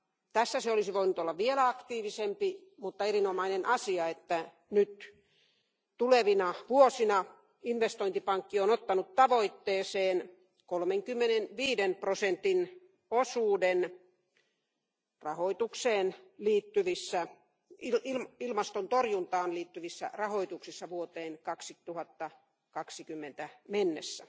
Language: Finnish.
Tässä se olisi voinut olla vielä aktiivisempi, mutta on erinomainen asia, että nyt tulevina vuosina investointipankki on ottanut tavoitteeseen 35 prosentin osuuden ilmastonmuutoksen torjuntaan liittyvissä rahoituksissa vuoteen 2020 mennessä.